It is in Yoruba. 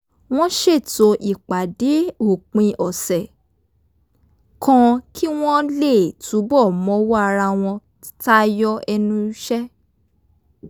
wọ́n ṣètò ìpàdé òpin ọ̀sẹ̀ kan kí wọ́n lè túbọ̀ mọwọ́ ara wọn tayọ ẹnu iṣẹ́